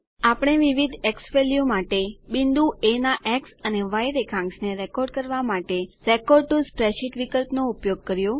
આપણે વિવિધ ઝવેલ્યુઝ માટે બિંદુ એ ના એક્સ અને ય રેખાંશ ને રેકોર્ડ કરવા માટે રેકોર્ડ ટીઓ સ્પ્રેડશીટ વિકલ્પ નો ઉપયોગ કર્યો છે